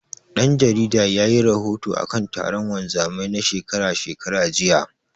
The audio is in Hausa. Ɗan jaridar yayi rahoto akan taron wanzamai na shekara shekara, jiya.